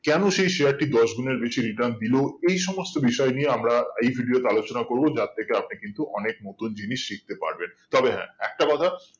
কেনো সেই share টি দশ গুনের বেশি return দিলো এই সমস্ত বিষয় নিয়ে আমরা এই video তে আলোচনা করবো যার থেকে আপনি কিন্তু অনেক নতুন জিনিস শিখতে পারবেন তবে হ্যাঁ একটা কথা